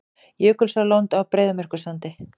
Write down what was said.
Jökulsárlón á Breiðamerkursandi.